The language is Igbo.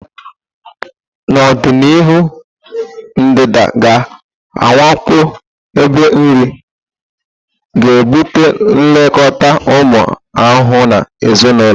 N'ọdịnihu, ndanda ga-awakpo ebe nri, ga ebute nlekọta ụmụ ahụhụ na ezinụlọ.